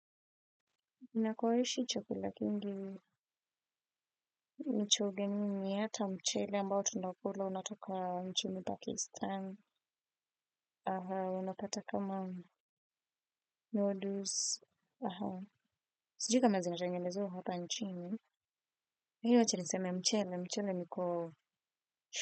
Nakoishi chakula kingi mno, ni cha ugenini hata mchele ambao tunakula unatoka nchini Pakistan. Aha unapata kama noodles aha sijui kama zina tengenezewa huko mchini lakini wache niseme mchele mchele niko.